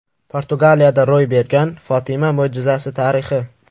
Portugaliyada ro‘y bergan Fotima mo‘jizasi tarixi.